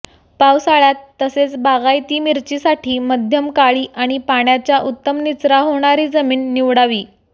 पावसाळयात तसेच बागायती मिरचीसाठी मध्यम काळी आणि पाण्याचा उत्तम निचरा होणारी जमिन निवडावी